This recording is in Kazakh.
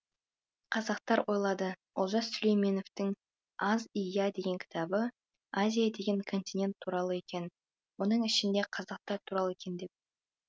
қазақтар ойлады олжас сүлейменовтің азия деген кітабы азия деген континент туралы екен оның ішінде қазақтар туралы екен деп